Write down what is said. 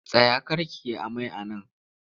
Tsaya kar ki yi amai a nan!